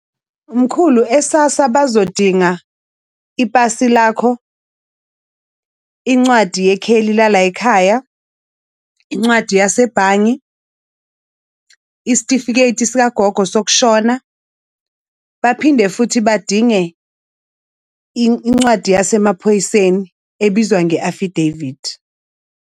Mkhulu, e-SASSA bazodinga ipasi lakho, incwadi yekheli lala yikhaya, incwadi yasebhange, isitifiketi sikagogo sokushona. Baphinde futhi badinge incwadi yasemaphoyiseni ebizwa nge-affidavit.